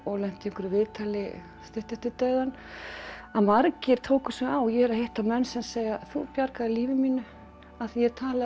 lenti í einhverju viðtali stuttu eftir dauðann margir tóku sig á ég er að hitta menn sem segja þú bjargaðir lífi mínu af því ég